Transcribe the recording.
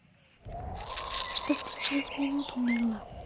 чтоб ты через минуту умерла